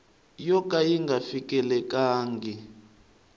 yo ka yi nga fikelelangi